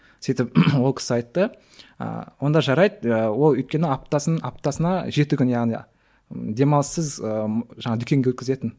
сөйтіп ол кісі айтты ы онда жарайды ыыы ол өйткені аптасын аптасына жеті күн яғни демалыссыз ыыы жаңағы дүкенге өткізетін